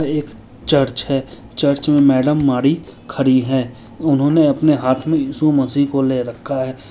ये एक चर्च है। चर्च में मेडम मारी खड़ी है। उन्होंने अपने हाथ में इस्सु मसी को ले रखा है।